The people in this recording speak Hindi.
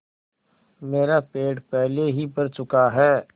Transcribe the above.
मेरा पेट पहले ही भर चुका है